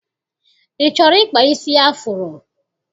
I chọrọ ịkpa isi afuro?